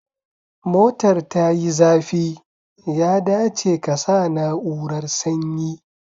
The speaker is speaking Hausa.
Motar tayi zafi, ya dace kasa na'urar sanyi